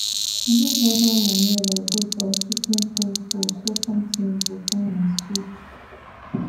use natural manure like goat or chicken poo poo so farm things go fine and sweet